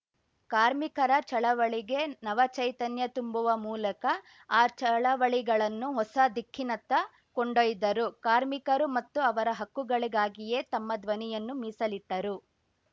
ಕಾರ್ಮಿಕರ ಚಳವಳಿಗೆ ನವ ಚೈತನ್ಯ ತುಂಬುವ ಮೂಲಕ ಆ ಚಳವಳಿಗಳನ್ನು ಹೊಸ ದಿಕ್ಕಿನತ್ತ ಕೊಂಡೊಯ್ದರು ಕಾರ್ಮಿಕರು ಮತ್ತು ಅವರ ಹಕ್ಕುಗಳಿಗಾಗಿಯೇ ತಮ್ಮ ಧ್ವನಿಯನ್ನು ಮೀಸಲಿಟ್ಟರು